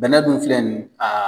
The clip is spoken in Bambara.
Bɛnɛ dun filɛ nin ye ka